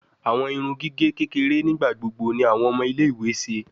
Awọn irun gige kekere nigbagbogbo ni awọn ọmọ ile-iwe ṣe